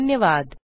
धन्यवाद